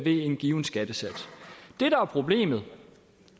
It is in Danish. en given skattesats det der er problemet